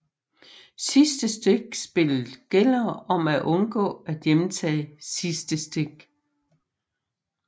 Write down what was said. Sidste stik Spillet gælder om at undgå at hjemtage sidste stik